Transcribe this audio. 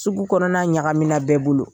Sugu kɔnɔna ɲagamina bɛɛ bolo.